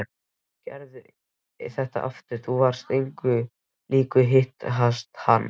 Gerðu þetta aftur, þú varst engu lík hikstaði hann.